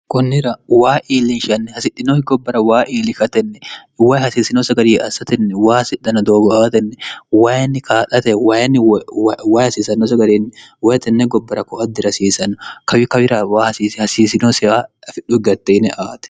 kunnira waa iillinshanni hasidhinohi gobbara waa iilikatenniwayi hasiisino sagarii assatenni waa hasidhana doogo aatenni wayinni kaa'late wayinni wayi hasiisanno sagariinni woyitenne gobbara ko a dirasiisanno kawi kawira waa hasiisinosiha afidhu gatte ine aate